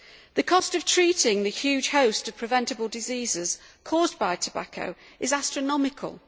The cost of treating the huge host of preventable diseases caused by tobacco is astronomical.